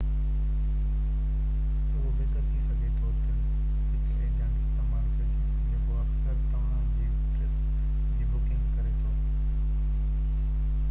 اهو بهتر ٿي سگهي ٿو ته هڪ ايجنٽ استعمال ڪجي جيڪو اڪثر توهان جي ٽرپس جي بڪنگ ڪري ٿو